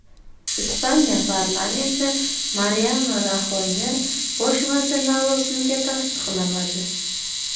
Ispaniya parlamenti Mariano Raxoyni bosh vazir lavozimiga tasdiqlamadi.